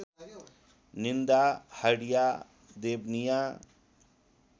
निन्दा हडिया देवनिया